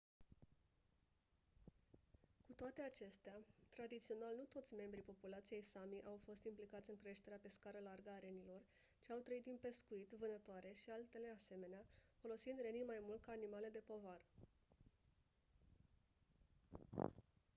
cu toate acestea tradițional nu toți membrii populației sámi au fost implicați în creșterea pe scară largă a renilor ci au trăit din pescuit vânătoare și altele asemenea folosind renii mai mult ca animale de povară